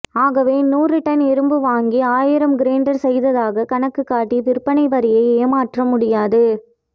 ஆகவே நூறுடன் இரும்பு வாங்கி ஆயிரம் கிரைண்டர் செய்ததாக கணக்கு காட்டி விற்பனைவரியை ஏமாற்றமுடியாது